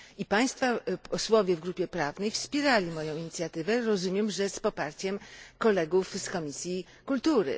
Państwa posłowie w grupie prawnej wspierali moją inicjatywę, rozumiem, że z poparciem kolegów z Komisji Kultury.